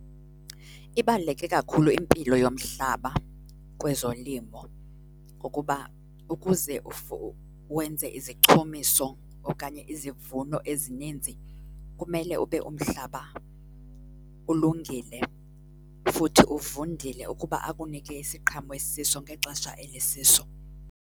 Ibaluleke kakhulu impilo yomhlaba kwezolimo ngokuba ukuze wenze izichumiso okanye izivuno ezininzi kumele ube umhlaba ulungile, futhi uvundile ukuba akunike isiqhamo esisiso ngexesha eli siso.